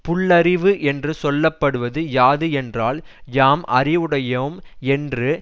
புல்லறிவு என்று சொல்ல படுவது யாது என்றால் யாம் அறிவுடையோம் என்று